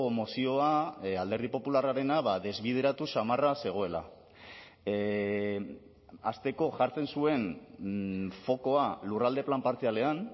mozioa alderdi popularrarena desbideratu samarra zegoela hasteko jartzen zuen fokoa lurralde plan partzialean